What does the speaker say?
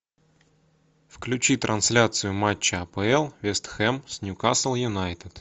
включи трансляцию матча апл вест хэм с ньюкасл юнайтед